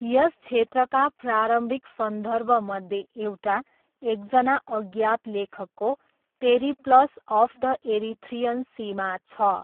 यस क्षेत्रका प्रारम्भिक सन्दर्भमध्ये एउटा, एकजना अज्ञात लेखकको 'पेरिप्लस अफ द एरिथ्रियन सी'मा छ।